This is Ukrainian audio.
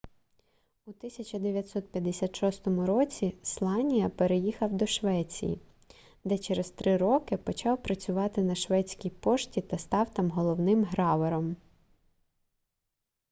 у 1956 році сланія переїхав до швеції де через три роки почав працювати на шведській пошті та став там головним гравером